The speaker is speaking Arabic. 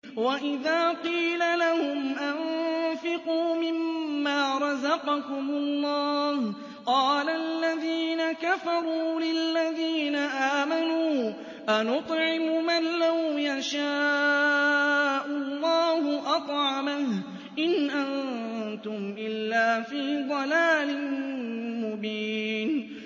وَإِذَا قِيلَ لَهُمْ أَنفِقُوا مِمَّا رَزَقَكُمُ اللَّهُ قَالَ الَّذِينَ كَفَرُوا لِلَّذِينَ آمَنُوا أَنُطْعِمُ مَن لَّوْ يَشَاءُ اللَّهُ أَطْعَمَهُ إِنْ أَنتُمْ إِلَّا فِي ضَلَالٍ مُّبِينٍ